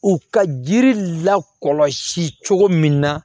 U ka jiri lakɔlɔsi cogo min na